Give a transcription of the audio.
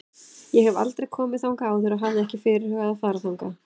Ég hef aldrei komið þangað áður og hafði ekki fyrirhugað að fara þangað.